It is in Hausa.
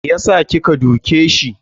Me yasa kika duke shi?